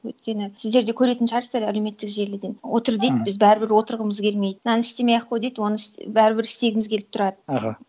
өйткені сіздер де көретін шығарсыздар әлеуметтік желіден отыр дейді біз бәрібір отырғымыз келмейді мынаны істемей ақ қой дейді оны бәрібір істегіміз келіп тұрады аха